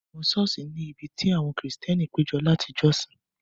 Àwọn ṣọ́ọ̀ṣì ni ibi tí àwọn Kristẹni péjọ láti jọ́sìn.